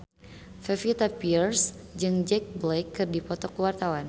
Pevita Pearce jeung Jack Black keur dipoto ku wartawan